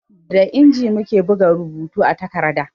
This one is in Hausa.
Da inji muke buga rubutu a takarda